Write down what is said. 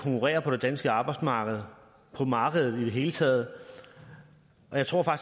konkurrere på det danske arbejdsmarked på markedet i det hele taget og jeg tror